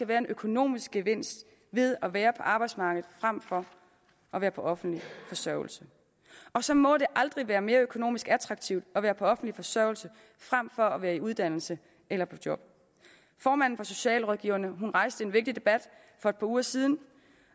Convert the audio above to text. være en økonomisk gevinst ved at være på arbejdsmarkedet frem for at være på offentlig forsørgelse og så må det aldrig være mere økonomisk attraktivt at være på offentlig forsørgelse frem for at være i uddannelse eller på job formanden for socialrådgiverne rejste en vigtig debat for et par uger siden